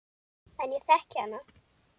En ég þekki hana.